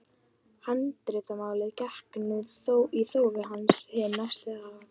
Handritamálið gekk nú í þófi hin næstu ár.